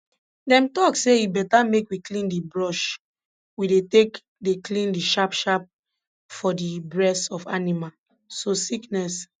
dem talk say e beta make we clean di brush we dey take dey clean di sharp sharp for di bress of animal so sickness